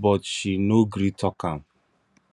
but she no gree talk am